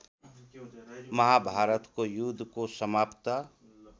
महाभारतको युद्धको समाप्त